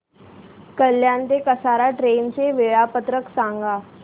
कल्याण ते कसारा ट्रेन चे वेळापत्रक सांगा